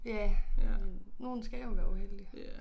Ja men nogen skal jo være uheldige